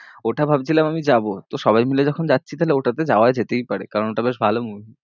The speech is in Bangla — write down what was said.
ওটা ভাবছিলাম আমি যাবো, তো সবাই মিলে যখন যাচ্ছি তাহলে ওটাতে যাওয়া যেতেই পারে, কারণ ওটা বেশ ভালো movie